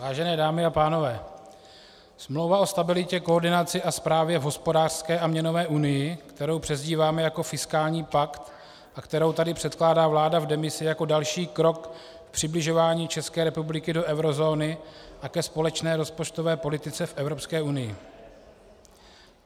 Vážené dámy a pánové, Smlouva o stabilitě, koordinaci a správě v hospodářské a měnové unii, kterou přezdíváme jako fiskální pakt a kterou tady předkládá vláda v demisi jako další krok k přibližování České republiky do eurozóny a ke společné rozpočtové politice v Evropské unii.